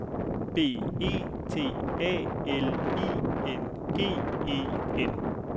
B E T A L I N G E N